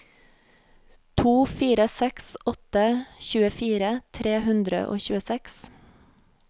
to fire seks åtte tjuefire tre hundre og tjueseks